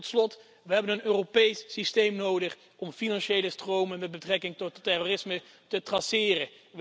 En tot slot, we hebben een Europees systeem nodig om financiële stromen met betrekking tot terrorisme te traceren.